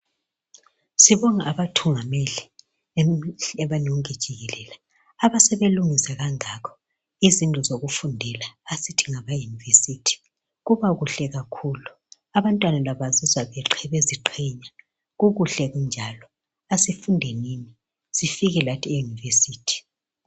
Sibonga abathungameli emhlabeni wonke jikelele abasebelungisa kangaka izindlu zokufundela esithi ngama university. Kubakuhle kakhulu abantwana labo bazizwa beziqhenya kukuhle kunjalo. Asifundenini sifike lathi euniversity.